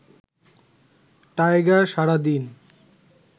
tiger সারা দিন